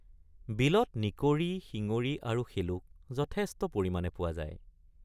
বিলত নিকৰি শিঙৰি আৰু শেলুক যথেষ্ট পৰিমাণে পোৱা যায়।